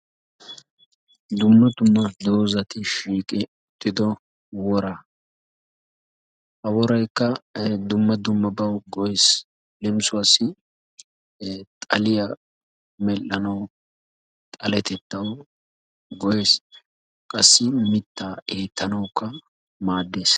Dumma dumma doozati shiiqi uttido woraa. Ha woraykka dumma dummabawu go'ees. Leem, xaliya medhdhanawu, xaletettawu go'ees, qassi mittaa eettanawukka maaddees.